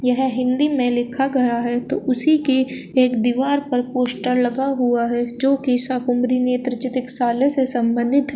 यह हिंदी में लिखा गया है तो उसी के एक दीवार पर पोस्टर लगा हुआ है जो की शाकंभरी नेत्र चिकित्सालय से संबंधित है।